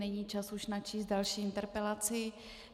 Není čas už načíst další interpelaci.